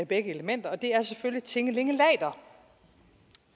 begge elementer og det er selvfølgelig tinge linge later